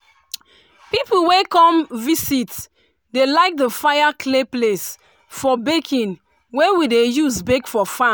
pipu wey come visit dey like the fire clay place for baking wey we dey use bake for farm.